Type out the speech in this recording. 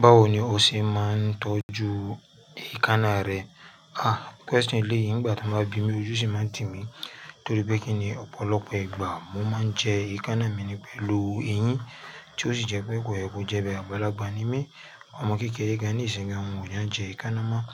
Báwo ni o ṣe máa ń tọ́jú èékánná rẹ? Ah question eleyìí nígbà ti wọ́n bá bí mi ojú ṣì máa ń tì mí torí pé kí ni ọ̀pọ̀lọpọ̀ ìgbà mo máa ń jẹ èékánná mi ní pẹ̀lú eyín tí ó sì jẹ pé kò yẹ kó jẹ bẹ́ẹ̀ àgbàlagba ní mi Àwọn ọmọ kékeré gan ní ìsìnyi gan wọn o ki jẹ èékánná máa